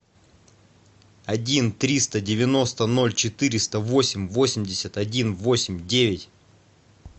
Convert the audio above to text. один триста девяносто ноль четыреста восемь восемьдесят один восемь девять